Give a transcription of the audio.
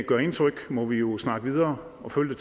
gør indtryk må vi jo snakke videre og følge